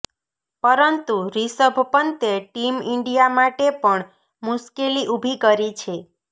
પરંતુ રિષભ પંતે team India માટે પણ મુશ્કેલી ઉભી કરી છે